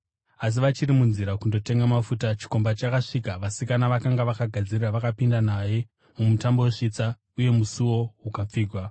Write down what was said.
“Asi vachiri munzira kundotenga mafuta, chikomba chakasvika. Vasikana vakanga vakagadzirira vakapinda naye mumutambo wesvitsa uye musuo ukapfigwa.